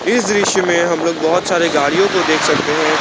इस दृश्य में हम लोग बहोत सारे गाड़ियों को देख सकते हैं।